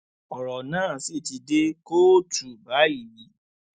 ọrọ náà sì ti dé kóòtù báyìí